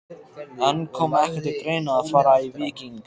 En kom ekki til greina að fara í Víking?